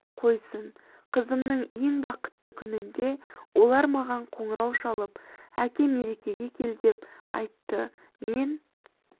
қойсын қызымның ең бақытты күнінде олар маған қоңырау шалып әке мерекеге кел деп айтты мен